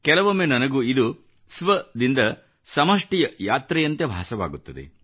ಕೆಲವೊಮ್ಮೆ ನನಗೆ ಇದು ಸ್ವ ದಿಂದ ಸಮಷ್ಟಿಯ ಯಾತ್ರೆಯಂತೆ ಭಾಸವಾಗುತ್ತದೆ